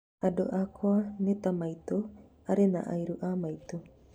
andũ akwa Nita maitũ, arĩ na arĩu a maitũ